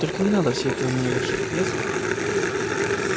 только не надо всё это на меня вешать ясно